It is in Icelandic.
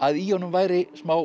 í honum væri smá